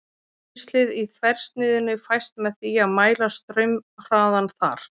Rennslið í þversniðinu fæst með því að mæla straumhraðann þar.